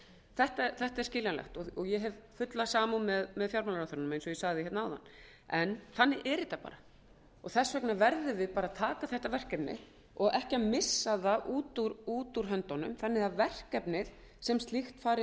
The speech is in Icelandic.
þetta er skiljanlegt og ég hef fulla samúð með fjármálaráðherranum eins og ég sagði áðan en þannig er þetta bara og þess vegna verðum við að taka þetta verkefni og ekki missa það út úr höndunum þannig að verkefnið sem slíkt fari